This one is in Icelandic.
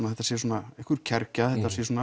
að þetta sé einhver kergja